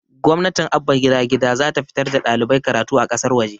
gwamnatin abba gida gida zata fitar da ɗalibai karatu a ƙasar waje